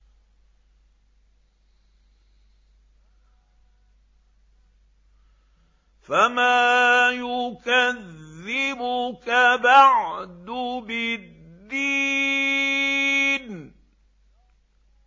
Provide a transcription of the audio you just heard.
فَمَا يُكَذِّبُكَ بَعْدُ بِالدِّينِ